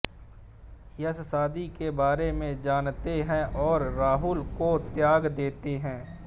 यश शादी के बारे में जानते हैं और राहुल को त्याग देते हैं